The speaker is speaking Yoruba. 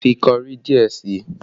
Fi kọrí díẹ̀ sí i!